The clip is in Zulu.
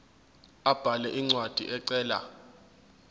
abhale incwadi ecela